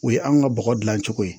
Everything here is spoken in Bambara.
O ye anw ka bɔgɔ dilan cogo ye